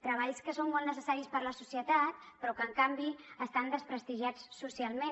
treballs que són molt necessaris per a la societat però que en canvi estan desprestigiats socialment